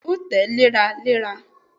Bẹẹni, o tẹ́ léra léra.